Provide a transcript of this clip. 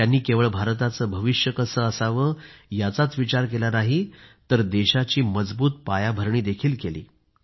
त्यांनी केवळ भारताचे भविष्य कसे असावे याचा विचार केला नाही तर देशाची मजबूत पायाभरणी केली